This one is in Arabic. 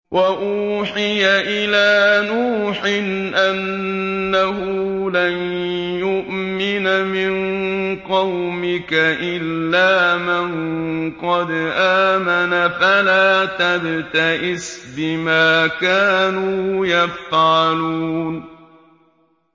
وَأُوحِيَ إِلَىٰ نُوحٍ أَنَّهُ لَن يُؤْمِنَ مِن قَوْمِكَ إِلَّا مَن قَدْ آمَنَ فَلَا تَبْتَئِسْ بِمَا كَانُوا يَفْعَلُونَ